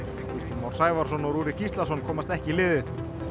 Már Sævarsson og Rúrik Gíslason komast ekki í liðið